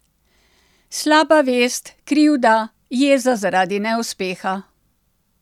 Slaba vest, krivda, jeza zaradi neuspeha.